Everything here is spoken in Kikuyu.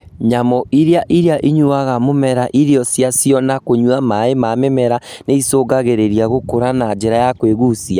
Nyamũ iria iria inyuaga mũmera irio ciacio na kũnyua maĩ ma mĩmera nĩicũngagĩrĩria gũkũra na njĩra ya kwĩgucia